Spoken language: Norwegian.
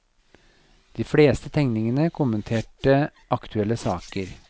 De fleste tegningene kommenterte aktuelle saker.